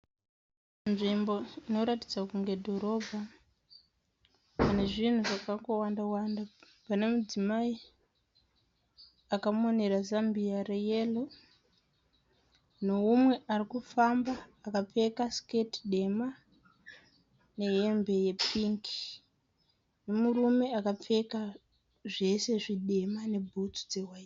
Nzvimbo inoratidza kunge dhorobha nezvinhu zvakangowanda wanda pane mudzimai akamonera zambia reyero neumwe arikufamba akapfeka siketi dema nehembe yepingi nemurume akapfeka zvese zvitema nebhutsu.